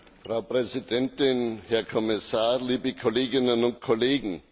Frau Präsidentin, Herr Kommissar, liebe Kolleginnen und Kollegen!